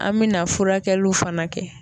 An mina furakɛliw fana kɛ